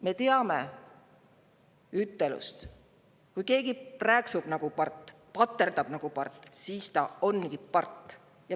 Me teame ütlust: kui keegi prääksub nagu part ja paterdab nagu part, siis ta ongi part.